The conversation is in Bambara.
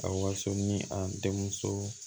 A waso ni a denmuso